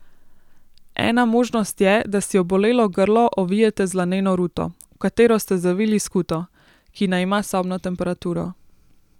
Ena možnost je, da si obolelo grlo ovijete z laneno ruto, v katero ste zavili skuto, ki naj ima sobno temperaturo.